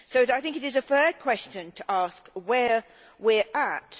I think it is a fair question to ask where we are at.